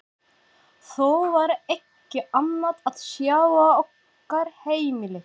Þó var ekki annað að sjá á okkar heimili.